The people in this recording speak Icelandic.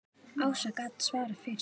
Ása gat svarað fyrir sig.